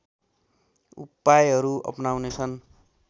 उपायहरू अपनाउने छन्